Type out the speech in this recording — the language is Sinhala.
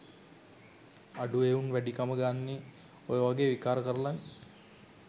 අඩු එවුන් වැඩිකම ගන්නෙ ඔය වගෙ විකාර කරලනෙ